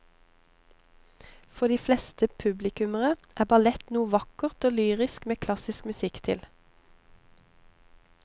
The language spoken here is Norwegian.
For de fleste publikummere er ballett noe vakkert og lyrisk med klassisk musikk til.